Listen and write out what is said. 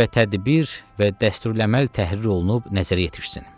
və tədbir və dəsturləməl təhrir olunub nəzərə yetişsin.